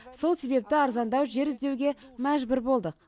сол себепті арзандау жер іздеуге мәжбүр болдық